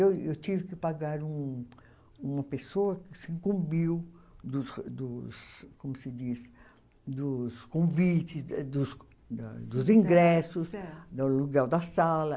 Eu eu tive que pagar um uma pessoa que se incumbiu dos dos como se diz dos convites, é dos dos ingressos, do aluguel da sala.